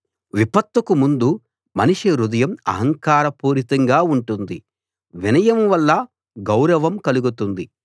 విపత్తుకు ముందు మనిషి హృదయం అహంకార పూరితంగా ఉంటుంది వినయం వల్ల గౌరవం కలుగుతుంది